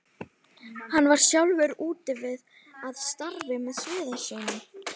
Hann var sjálfur úti við að starfi með smiðum sínum.